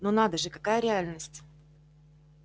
но надо же какая реальность